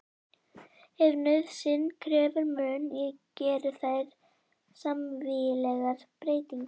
Ef nauðsyn krefur mun ég gera þar smávægilegar breytingar.